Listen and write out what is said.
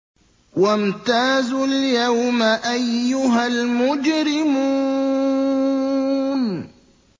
وَامْتَازُوا الْيَوْمَ أَيُّهَا الْمُجْرِمُونَ